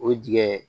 O dingɛ